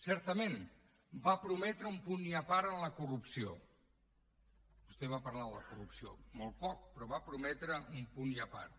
certament va prometre un punt i a part en la corrupció vostè va parlar de la corrupció molt poc però va prometre un punt i a part